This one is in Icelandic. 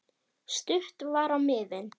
Stutt var á miðin.